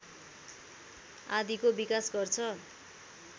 आदिको विकास गर्छ